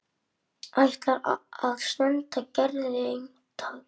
Ætlar að senda Gerði eintak.